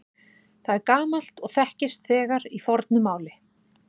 Það er gamalt og þekkist þegar í fornu máli.